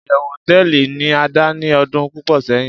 iyewu hoteeli ni ada ni odun pupo seyin